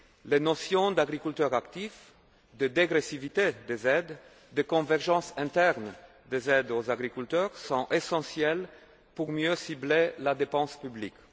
Les notions d'agriculteurs actifs, de dégressivité des aides, de convergence interne des aides aux agriculteurs sont essentielles pour mieux cibler la dépense publique.